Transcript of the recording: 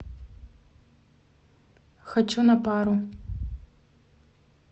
хочу на пару